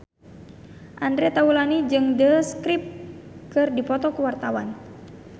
Andre Taulany jeung The Script keur dipoto ku wartawan